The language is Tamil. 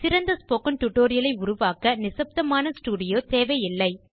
சிறந்த ஸ்போக்கன் டியூட்டோரியல் ஐ உருவாக்க நிசப்தமான ஸ்டூடியோ தேவையில்லை